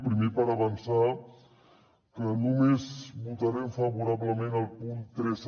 primer per avançar que només votarem favorablement el punt tres